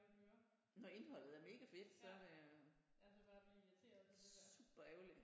Når indholdet er mega fedt så er det super ærgerligt